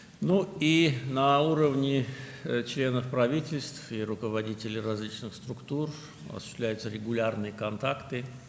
Həmçinin, hökumət üzvləri və müxtəlif qurumların rəhbərləri səviyyəsində müntəzəm əlaqələr həyata keçirilir.